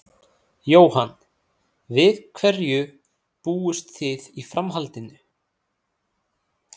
Jóhann: Við hverju búist þið í framhaldinu?